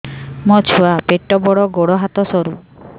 ମୋ ଛୁଆ ପେଟ ବଡ଼ ଗୋଡ଼ ହାତ ସରୁ